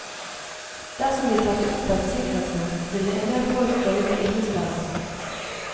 Dersom vi satte opp et sikkerhetsnett, ville endel folk føle seg innesperret.